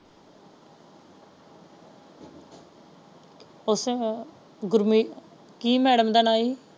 ਉੱਥੇ ਹੈ ਗੁਰਮੀਤ ਕੀ ਮੈਡਮ ਦਾ ਨਾ ਸੀ?